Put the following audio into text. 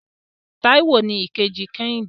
Táíwò ni ìkejì kẹ́hìndé.